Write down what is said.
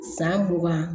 San mugan